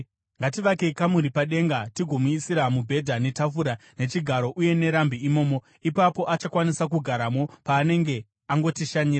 Ngativakei kamuri padenga tigomuisira mubhedha netafura, nechigaro uye nerambi imomo. Ipapo achakwanisa kugaramo paanenge angotishanyira.”